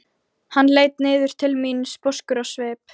Hann leit niður til mín sposkur á svip.